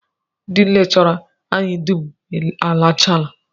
Ndị lekchọra anyị dum alachaala